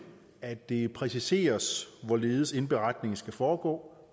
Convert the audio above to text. at det præciseres hvorledes indberetningen skal foregå